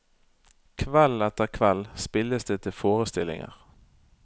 Kveld etter kveld spilles det til forestillinger.